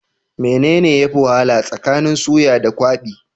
Mene ne yafi wahala tsakanin suya da kwabi?